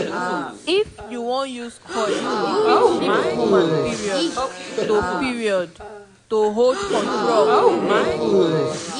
if u wan use coil e fit shift woman period --to period --to hold control of belle